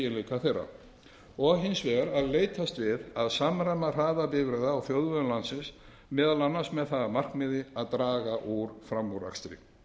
þeirra og hins vegar að leitast er við að samræma hraða bifreiða á þjóðvegum landsins meðal annars með það að markmiði að draga úr framúrakstri